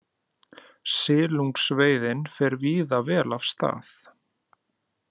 Silungsveiðin fer víða vel af stað